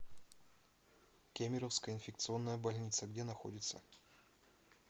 кемеровская инфекционная больница где находится